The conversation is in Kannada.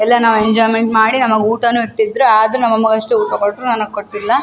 ಎಲ್ಲಾ ನಾವ್ ಎಂಜೋಯ್ಮೆಂಟ್ ಮಾಡಿ ನಮಗ್ ಊಟನು ಇಟ್ಟಿದ್ರು ಆದ್ರೂ ನಮ್ಮ್ ಅಮ್ಮಂಗ್ ಅಷ್ಟು ಊಟ ಕೊಟ್ರು ನನಗ್ ಕೊಟ್ಟಿಲ್ಲ --